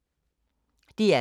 DR K